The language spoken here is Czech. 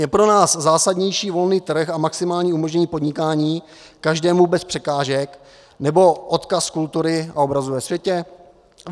Je pro nás zásadnější volný trh a maximální umožnění podnikání každému bez překážek, nebo odkaz kultury a obrazu ve světě?